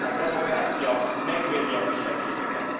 Magyarország demokrácia, megvédi a kisebbségeket.